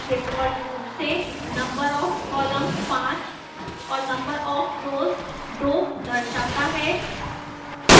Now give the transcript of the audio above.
default रूप से number of columns 5 और number of rows 2 दर्शाता है